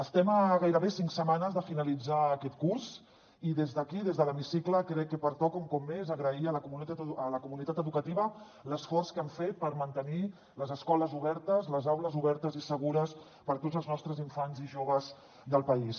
estem a gairebé cinc setmanes de finalitzar aquest curs i des d’aquí des de l’hemicicle crec que pertoca un cop més a agrair a la comunitat educativa l’esforç que han fet per mantenir les escoles obertes les aules obertes i segures per a tots els nostres infants i joves del país